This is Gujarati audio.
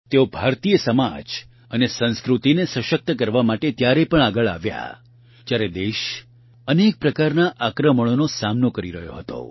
તેઓ ભારતીય સમાજ અને સંસ્કૃતિને સશક્ત કરવા માટે ત્યારે આગળ આવ્યા જયારે દેશ અનેક પ્રકારના આક્રમણોનો સામનો કરી રહ્યો હતો